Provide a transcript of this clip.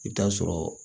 I bɛ taa sɔrɔ